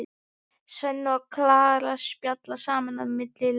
Svenni og Klara spjalla saman á milli laga.